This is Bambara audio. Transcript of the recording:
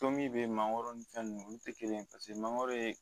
Tomi be mangoro ni fɛn nunnu olu tɛ kelen ye paseke mangoro ye